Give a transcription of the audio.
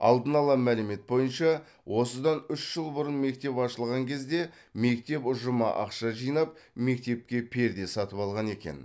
алдын ала мәлімет бойынша осыдан үш жыл бұрын мектеп ашылған кезде мектеп ұжымы ақша жинап мектепке перде сатып алған екен